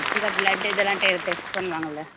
இதா blood இதெல்லாம் டெ test பண்ணுவாங்கல்ல